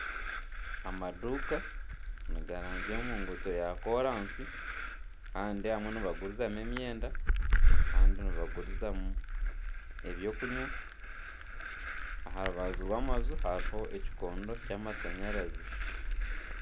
Ekinyonyi kiramanywa nk'akanyunya kiri aha itaagi ry'omuti, kiratukura.